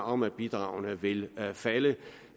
om at bidragene vil falde